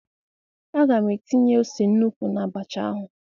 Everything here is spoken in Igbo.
A ga m etinye ose nnukwu na-abacha ahụ.